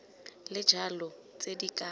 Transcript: le jalo tse di ka